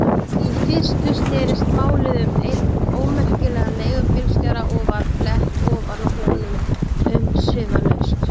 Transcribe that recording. Í fyrstu snerist málið um einn ómerkilegan leigubílstjóra og var flett ofan af honum umsvifalaust.